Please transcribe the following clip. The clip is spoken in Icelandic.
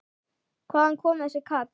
Hvaðan kom þessi kall?